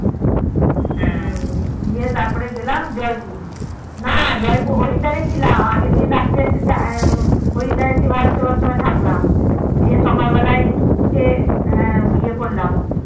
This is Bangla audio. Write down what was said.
হ্যা গিয়ে তারপরে গেলাম জয়পুর না জয়পুর হরিদ্বার এ ছিলাম আগের দিন রাত্রে হরিদ্বার এ এসে ভারতসেবাশ্রম এ থাকলাম গিয়ে সকাল বেলায় উঠে ইয়ে করলাম